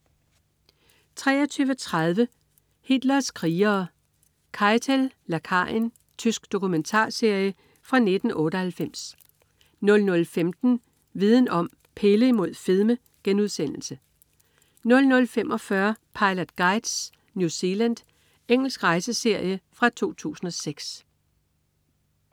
23.30 Hitlers krigere: Keitel, lakajen. Tysk dokumentarserie fra 1998 00.15 Viden Om: Pille imod fedme* 00.45 Pilot Guides: New Zealand. Engelsk rejseserie fra 2006